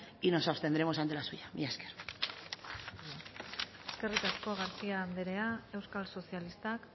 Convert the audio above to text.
y no abstendremos ante la suya mila esker eskerrik asko garcía andrea euskal sozialistak